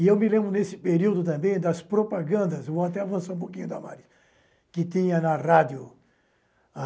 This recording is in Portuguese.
E eu me lembro, nesse período também, das propagandas vou até avançar um pouquinho damaris que tinha na rádio.